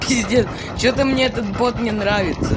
пиздец что-то мне этот бот не нравится